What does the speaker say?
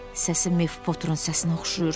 Səsi Miff Poturun səsinə oxşayır.